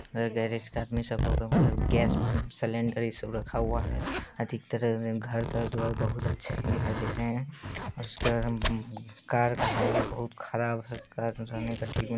यह गैरेज का gas cylinder ये सब रखा हुआ है| अधिकतर घर-तर द्वार बहुत अच्छे दिखाई दे रहे हैं| और उसके बाद हम कार का हालत बहुत खराब है कार ना जाने का --